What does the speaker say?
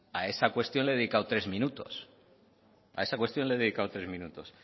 a esa cuestión le he dedicado tres minutos